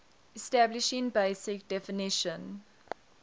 establishing basic definition